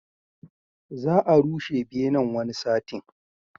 Za a rushe benen, wani satin.